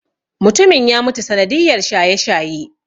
Mutumin ya mutu sanadiyar shaye-shaye.